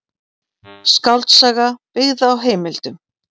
Skáldsaga byggð á heimildum.